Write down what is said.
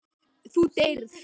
Þú deyrð.